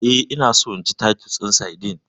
Eh, ina so in ci titus din sardine.